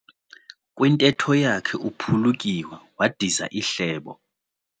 Kwintetho yakhe uphulukiwe wadiza ihlebo.